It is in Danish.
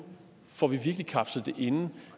får kapslet det ind